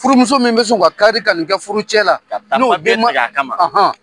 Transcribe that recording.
Furumuso min bɛ sƆn ka kari ka nin kɛ furucɛ la,